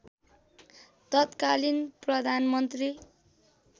तत्कालीन प्रधानमन्त्री